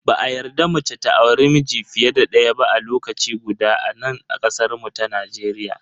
Ba a yarda mace ta auri miji fiye da daya ba a lokaci guda a nan kasar mu ta Najeriya.